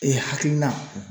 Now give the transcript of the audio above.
Ee hakilina